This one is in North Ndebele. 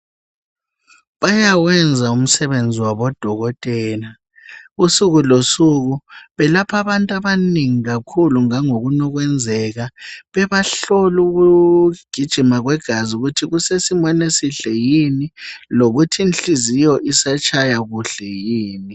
Bayawenza umsebenzi wabo odokotela usuku losuku, belapha abantu abanengi kakhulu ngangokunukwenzeka bebahlola ukugijima kwegazi ukuthi kusesimeni esihle yini lokuthi nhliziyo isatshaya kuhle yini.